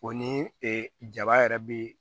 O ni ee jaba yɛrɛ be